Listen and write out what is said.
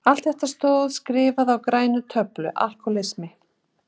Allt þetta stóð skrifað á græna töflu: Alkohólismi.